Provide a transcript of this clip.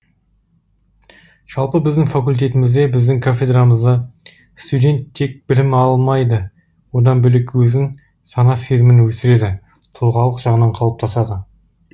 жалпы біздің факультетімізде біздің кафедрамызда студент тек білім алмайды одан бөлек өзін сана сезімін өсіреді тұлғалық жағынан қалыптасады